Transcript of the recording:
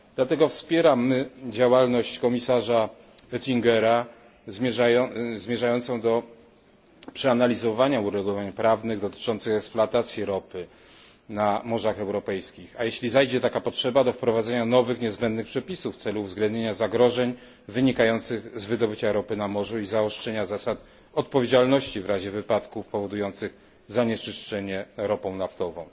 Dlatego wspieramy działalność komisarza Oettingera zmierzającą do przeanalizowania uregulowań prawnych dotyczących eksploatacji ropy na morzach europejskich, a jeśli zajdzie taka potrzeba, wprowadzenia nowych niezbędnych przepisów w celu uwzględnienia zagrożeń wynikających z wydobycia ropy na morzu i zaostrzenia zasad odpowiedzialności w razie wypadków powodujących zanieczyszczenie ropą naftową.